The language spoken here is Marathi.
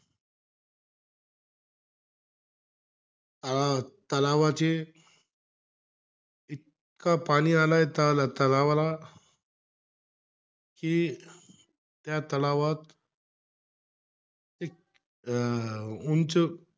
अं तलावाचे, इतका पाणी आलाय त अं तलावाला. कि त्या तलावात एक अं उंच,